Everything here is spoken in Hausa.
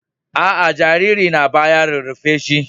A a, jariri na baya rarrafe ba.